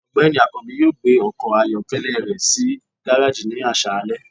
ọgbẹni akanbi yọọ gbé ọkọ ayọkẹlẹ rẹ si garejí ni aṣalẹ.